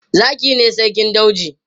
Zaki ne sarkin dauji.